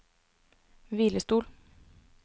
hvilestol